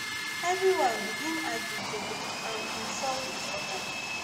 everyone begin argue dey um insult each oda